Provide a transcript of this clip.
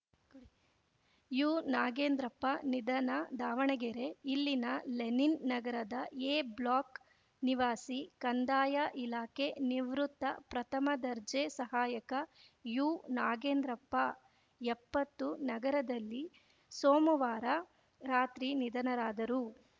ಯುನಾಗೇಂದ್ರಪ್ಪ ನಿಧನ ದಾವಣಗೆರೆ ಇಲ್ಲಿನ ಲೆನಿನ್‌ ನಗರದ ಎ ಬ್ಲಾಕ್‌ ನಿವಾಸಿ ಕಂದಾಯ ಇಲಾಖೆ ನಿವೃತ್ತ ಪ್ರಥಮ ದರ್ಜೆ ಸಹಾಯಕ ಯುನಾಗೇಂದ್ರಪ್ಪ ಎಪ್ಪತ್ತು ನಗರದಲ್ಲಿ ಸೋಮವಾರ ರಾತ್ರಿ ನಿಧನರಾದರು